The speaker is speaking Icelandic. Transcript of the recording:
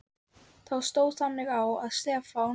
Þá stóð þannig á, að Stefán